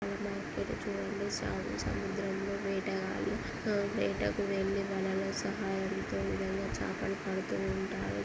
Market చూడండి స సముద్రంలో వేటగాళ్ళు ఆ వేటకు వెళ్లి వలల సహాయంతో ఈ విధంగా చేపలు పడుతూ ఉంటారు.